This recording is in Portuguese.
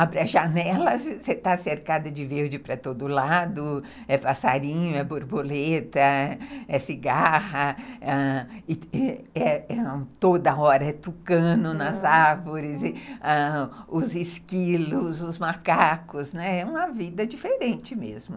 abre a janela, você está cercada de verde para todo lado, é passarinho, é borboleta, é cigarra, ãh, toda hora é tucano nas árvores, os esquilos, os macacos, né, é uma vida diferente mesmo.